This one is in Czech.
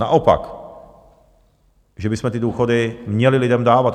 Naopak, že bychom ty důchody měli lidem dávat.